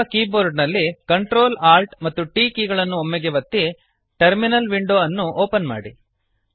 ನಿಮ್ಮ ಕೀಬೋರ್ಡ ನಲ್ಲಿCtrl Alt ಮತ್ತು T ಕೀ ಗಳನ್ನು ಒಮ್ಮೆಗೇ ಒತ್ತಿ ಟರ್ಮಿನಲ್ ವಿಂಡೊ ಅನ್ನು ಓಪನ್ ಮಾಡಿ